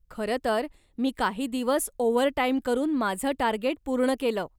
खरंतर मी काही दिवस ओव्हरटाईम करून माझं टार्गेट पूर्ण केलं.